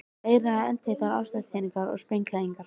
Meira að segja eldheitar ástarjátningar voru sprenghlægilegar.